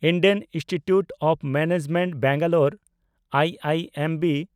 Indian Institute of Management Bangalore (IIMB)